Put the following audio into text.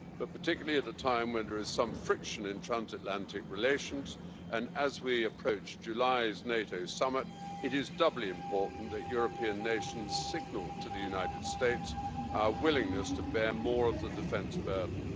Particularly at a time when there is some friction in transatlantic relations, and as we approach July's NATO summit, it is doubly important that European nations signal to the United States our willingness to bear more of the defence burden.